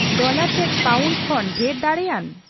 dollar ᱪᱮᱫ pound ᱠᱷᱚᱱ ᱰᱷᱮᱨ ᱫᱟᱲᱮᱭᱟᱱ